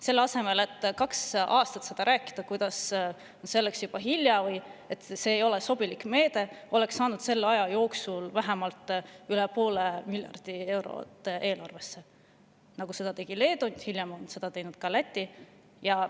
Selle asemel, et kaks aastat rääkida, kuidas selleks on juba hilja või et see ei ole sobilik meede, oleks selle aja jooksul saanud vähemalt üle poole miljardi euro eelarvesse, nagu seda tegi Leedu ja hiljem tegi ka Läti.